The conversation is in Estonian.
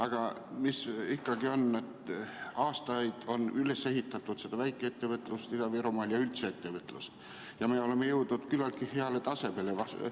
Aga mis ikkagi on, et aastaid on üles ehitatud väikeettevõtlust Ida-Virumaal ja üldse ettevõtlust, ja me oleme jõudnud küllaltki heale tasemele.